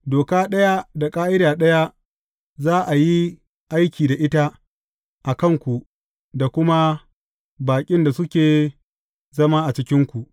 Doka ɗaya da ƙa’ida ɗaya za a yi aiki da ita a kan ku da kuma baƙin da suke zama a cikinku.’